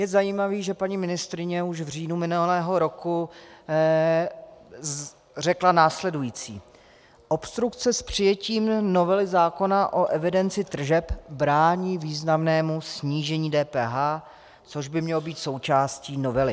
Je zajímavé, že paní ministryně už v říjnu minulého roku řekla následující: Obstrukce s přijetím novely zákona o evidenci tržeb brání významnému snížení DPH, což by mělo být součástí novely.